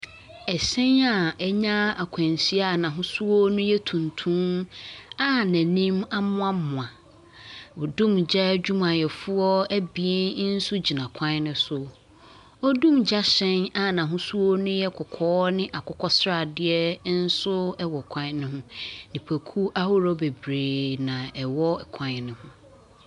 Ɛhyɛn a anya akwanhyia a n'ahosuo no yɛ tuntum a n'anim amoamoa. Odumgya adwumayɛfoɔ abien nso gyina kwan no so. Odungya hyɛn a n'ahosuo no ye kɔkɔɔ ne akokɔsradeɛ nso wɔ kwan no ho. Nipakuo ahodoɔ bebree na wɔwɔ kwan no ho.